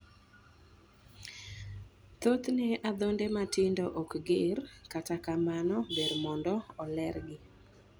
Thothne adhonde matindo ok ger, kata kamano ber mondo ilergi.